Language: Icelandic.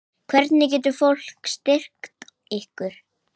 Hvernig getur fólk styrkt ykkur?